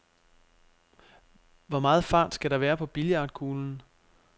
Hvor meget fart skal der være på billiardkuglen?